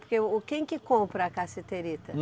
Porque o quem que compra a cassiterita?